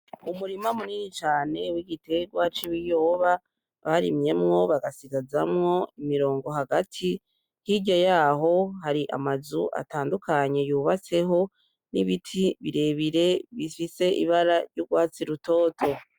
Umurima munini cane w'igitegwa c'ibiyoba barimyemwo bagasigazamwo imirongo hagati hirya yaho hari amazu atandukanye y'ubabatseho n'ibiti birebire bifise ibara ry'ugwatsi rutoto